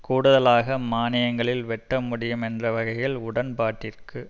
கூடுதலாக மானியங்களில் வெட்ட முடியும் என்ற வகையில் உடன்பாட்டிற்கு